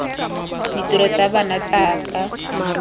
ditiro tsa bona tsa ka